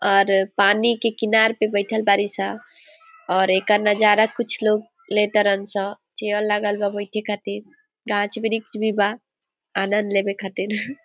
और पानी के किनारे पे बैठल बारिश ह और ईका नज़ारा कुछ लोग लेटे रहल छे चेयर लगल बा बैठे के खातिर घास वृक्ष भी बा आनंद लेने खातिर ।